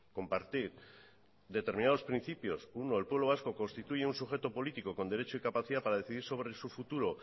compartir determinados principios uno el pueblo vasco constituye un sujeto político con derecho y capacidad para decidir sobre su futuro